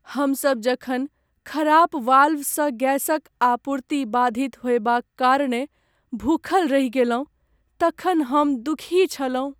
हमसभ जखन खराप वाल्वसँ गैसक आपूर्ति बाधित होयबाक कारणेँ भूखल रहि गेलहुँ तखन हम दुखी छलहुँ।